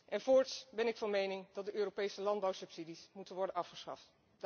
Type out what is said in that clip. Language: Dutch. En voorts ben ik van mening dat de Europese landbouwsubsidies moeten worden afgeschaft.